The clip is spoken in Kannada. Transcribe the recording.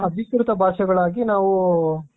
ಅಧಿಕೃತ ಭಾಷೆಗಳಾಗಿ ನಾವು.